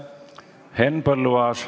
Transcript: Henn Põlluaas.